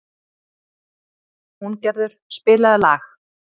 Húngerður, spilaðu lag.